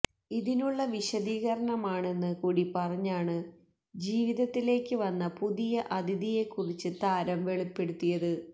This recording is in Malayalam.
ഇതിനുള്ള വിശദീകരണമാണെന്ന് കൂടി പറഞ്ഞാണ് ജീവിതത്തിലേക്ക് വന്ന പുതിയ അതിഥിയെക്കുറിച്ച് താരം വെളിപ്പെടുത്തിയത്